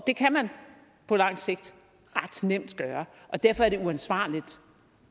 det kan man på lang sigt ret nemt gøre og derfor er det uansvarligt